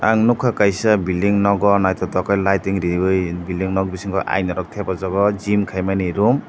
ang nogka kaisa bilding nogo naitotok khe layid rewai bilding nog bisingo ayna rok tepajogo gym kaimani room.